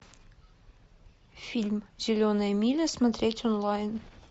фильм зеленая миля смотреть онлайн